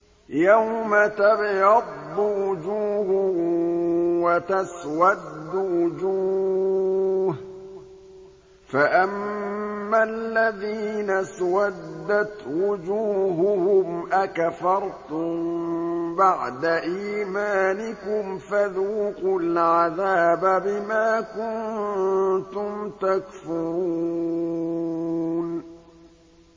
يَوْمَ تَبْيَضُّ وُجُوهٌ وَتَسْوَدُّ وُجُوهٌ ۚ فَأَمَّا الَّذِينَ اسْوَدَّتْ وُجُوهُهُمْ أَكَفَرْتُم بَعْدَ إِيمَانِكُمْ فَذُوقُوا الْعَذَابَ بِمَا كُنتُمْ تَكْفُرُونَ